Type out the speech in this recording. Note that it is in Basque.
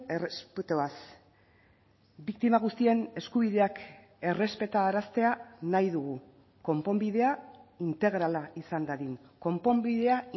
errespetuaz biktima guztien eskubideak errespetaraztea nahi dugu konponbidea integrala izan dadin konponbidea